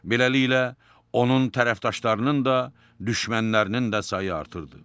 Beləliklə, onun tərəfdarlarının da, düşmənlərinin də sayı artırdı.